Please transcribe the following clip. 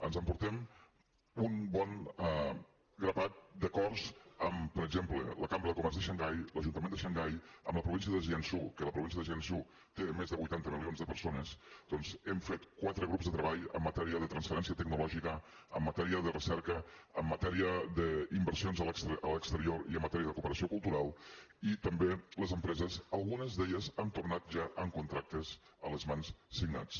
ens emportem un bon grapat d’acords amb per exemple la cambra de comerç de xangai l’ajuntament de xangai amb la província de jiangsu que la província de jiangsu té més de vuitanta milions de persones doncs hem fet quatre grups de treball en matèria de transferència tecnològica en matèria de recerca en matèria d’inversions a l’exterior i en matèria de cooperació cultural i també les empreses algunes d’elles han tornat ja amb contractes a les mans signats